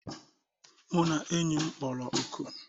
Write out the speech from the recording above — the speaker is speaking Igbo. Mụ na enyi m kpọrọ oku